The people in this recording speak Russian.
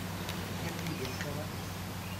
сергеенкова